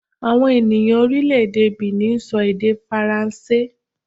Àwọn ènìyàn orílẹ̀-èdè Benin sọ èdè Faransé